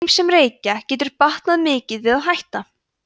þeim sem reykja getur batnað mikið við að hætta